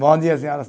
Bom dia, senhoras.